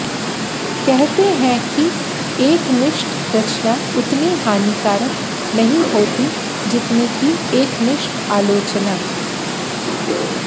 कहते हैं कि एकनिष्ठ रचना उतनी हानिकारक नहीं होती जितनी कि एकनिष्ठ आलोचना